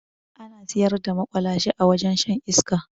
Ana siyar da maƙwalashe a wajen shan iska